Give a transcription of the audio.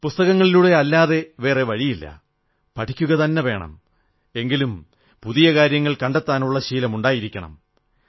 പുസ്തകങ്ങളിലൂടെയല്ലാതെ വേറെ വഴിയില്ല പഠിക്കുകതന്നെ വേണം എങ്കിലും പുതിയ കാര്യങ്ങൾ കണ്ടെത്താനുള്ള ശീലം ഉണ്ടായിരിക്കണം